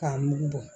K'a mugu bɔ